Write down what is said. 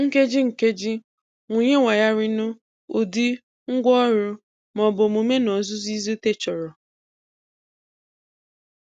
Nkeji nkeji-wụnye wayarinu, ụdị, ngwaọrụ, ma ọ bụ omume n'ozuzu izute chọrọ.